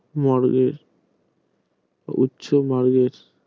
বর্গের ইচ্ছা বর্গের